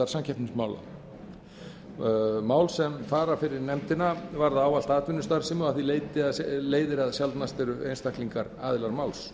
áfrýjunarnefndar samkeppnismála mál sem fara fyrir nefndina varða ávallt atvinnustarfsemi og af því leiðir að sjaldnast eru einstaklingar aðilar máls